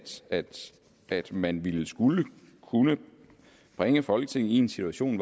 at man vil kunne bringe folketinget i en situation